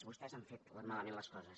vostès han fet malament les coses